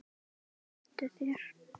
Skemmtu þér.